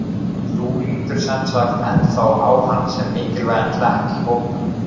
Þú lítur semsagt ennþá á hann sem mikilvægan hlekk í hópnum?